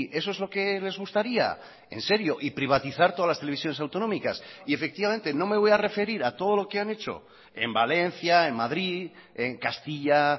eso es lo que les gustaría en serio y privatizar todas las televisiones autonómicas y efectivamente no me voy a referir a todo lo que han hecho en valencia en madrid en castilla